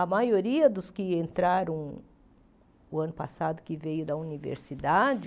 A maioria dos que entraram no ano passado, que veio da universidade,